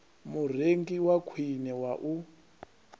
murengi wa khwine wa u